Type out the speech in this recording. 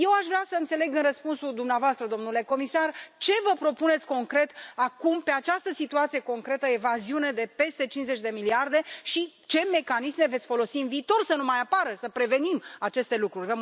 Eu aș vrea să înțeleg în răspunsul dumneavoastră, domnule comisar, ce vă propuneți concret acum, pe această situație concretă evaziune de peste 50 de miliarde și ce mecanisme veți folosi în viitor să nu mai apară, să prevenim aceste lucruri.